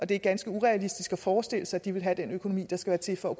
det er ganske urealistisk at forestille sig at de vil have den økonomi der skal til for